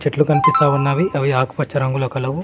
చెట్లు కనిపిస్తా ఉన్నవి అవి ఆకుపచ్చ రంగులో కలవు.